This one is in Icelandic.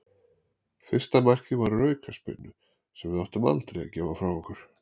Fyrsta markið var úr aukaspyrnu sem við áttum aldrei að gefa frá okkur.